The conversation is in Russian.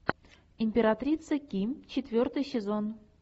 императрица ки четвертый сезон